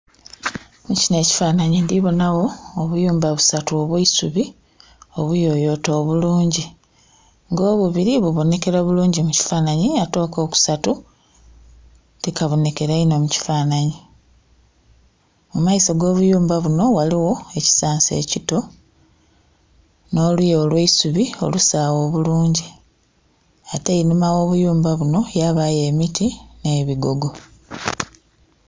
Mukino ekifananhi ndhibonha gho obuyumba bisatu obwesubi obuyoyote obulungi nga obubiri bubonyekera bulungi mukifananhi ate akokusatu ti kabonhekera inho mu kifananhi. Mumaiso go buyumba bunho ghaligho ekisansa ekito nho luya olweisubi obusaghe obulungi ate einhuma gho buyumba bunho yabayo obuti nhe bigogo.